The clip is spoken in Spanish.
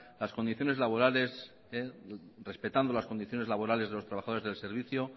las condiciones laborales respetando las condiciones laborales de los trabajadores del servicio